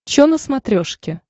че на смотрешке